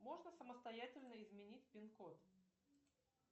можно самостоятельно изменить пин код